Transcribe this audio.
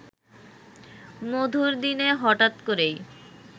মধুর দিনে হঠাৎ করেই